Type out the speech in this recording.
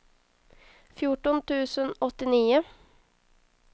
fjorton tusen åttionio